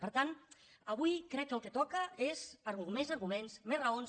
per tant avui crec que el que toca són més arguments més raons